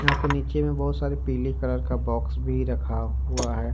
यहां पे नीचे में बहुत सारी पीले कलर का बॉक्स भी रखा हुआ है।